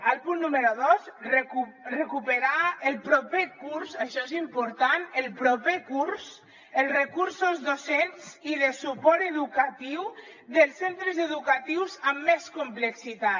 el punt número dos recuperar el proper curs això és important el proper curs els recursos docents i de suport educatiu dels centres educatius amb més complexitat